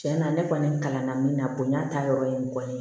Cɛn na ne kɔni kalan na min na bonya taayɔrɔ ye mɔgɔ ye